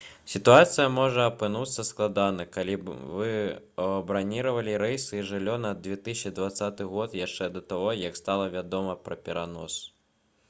сітуацыя можа апынуцца складанай калі вы браніравалі рэйсы і жыллё на 2020 год яшчэ да таго як стала вядома пра перанос